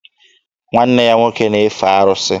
Nwanne ya nwoke na-efe arụsị.